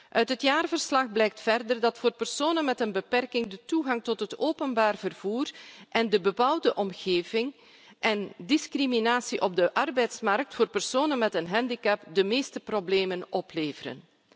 Uit het jaarverslag blijkt verder dat voor personen met een beperking de toegang tot het openbaar vervoer en de bebouwde omgeving, en discriminatie op de arbeidsmarkt voor personen met een handicap de meeste problemen opleveren.